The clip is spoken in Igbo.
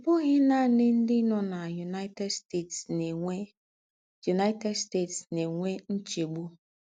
Ọ̀ bụ́ghì nànì ńdị́ nọ́ ná United States ná-ènwè United States ná-ènwè ńchègbù.